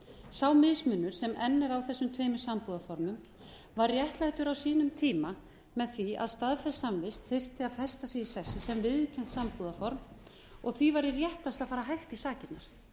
sá mismunur sem enn er á þessum tveimur sambúðarformum var réttlættur á sínum tíma með því að staðfestsamvist þyrfti að festa sig í sessi sem viðurkennt sambúðarform og því væri réttast að fara hægt í sakirnar